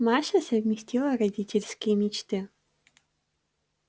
маша совместила родительские мечты